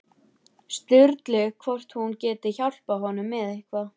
Sturlu hvort hún geti hjálpað honum með eitthvað.